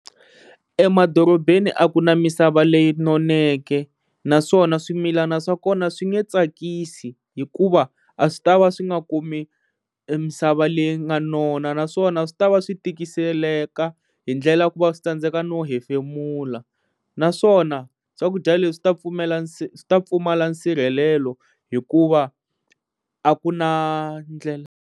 Emadorobeni a ku na misava leyi noneke naswona swimilana swa kona swi nge tsakisi hikuva a swi ta va swi nga kumi emisava leyi nga nona naswona swi ta va swi tikiseleka hi ndlela ku va swi tsandzeka no hefemula naswona swakudya leswi ta pfumela swi ta pfumala nsirhelelo hikuva a ku na ndlela.